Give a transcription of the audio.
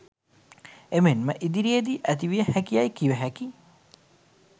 එමෙන්ම ඉදිරියේදී ඇතිවිය හැකියැයි කිවහැකි